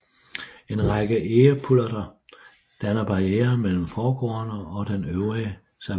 En række egepullerter danner barriere mellem forgårdene og den øvrige savanne